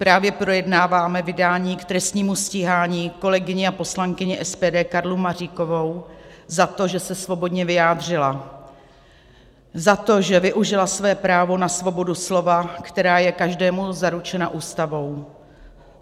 Právě projednáváme vydání k trestnímu stíhání kolegyni a poslankyni SPD Karlu Maříkovou za to, že se svobodně vyjádřila, za to, že využila své právo na svobodu slova, která je každému zaručena Ústavou.